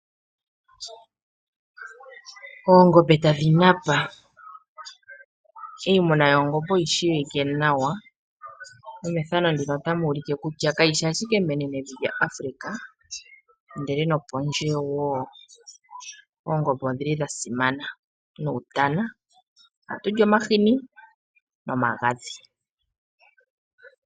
Oongombe tadhi napa. Iimuna yoongombe oyi shiwike nawa kutya kaishi ike menenevo Afrika moka oongombe dhasimana ndele nopondje woo odhili dhasimana. Ohatu li omashini nomagadhi goongombe.